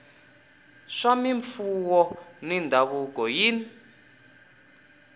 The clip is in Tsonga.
swa mimfuwo na mindhavuko yin